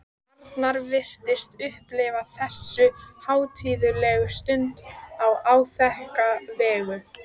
Arnar virtist upplifa þessu hátíðlegu stund á áþekka vegu.